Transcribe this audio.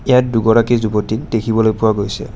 ইয়াত দুগৰাকী যুৱতীক দেখিবলৈ পোৱা গৈছে।